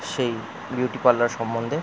সেই beauty parlour সম্বন্ধে--